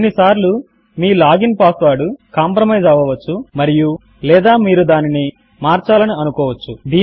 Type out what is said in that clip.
కొన్నిసార్లు మీ login password compromise అవ్వవచ్చు మరియులేదా మీరు దానిని మీరు మార్చాలని అనుకోవచ్చు